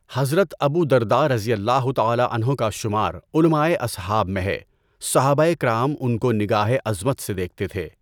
حضرت ابو درداء رضی اللہ تعالیٰ عنہ کا شمار علمائے اصحاب میں ہے، صحابۂ کرام ان کو نگاہِ عظمت سے دیکھتے تھے۔